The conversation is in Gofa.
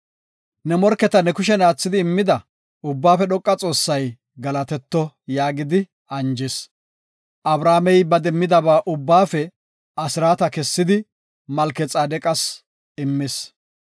Ne morketa ne kushen aathidi immida, Ubbaafe Dhoqa Xoossay galatetto” yaagidi anjis. Abramey ba demmidaba ubbaafe asraata kessidi Malkexaadeqas immis.